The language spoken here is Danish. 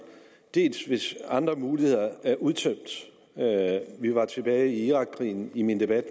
hvis andre muligheder er udtømt vi var tilbage ved irakkrigen i min debat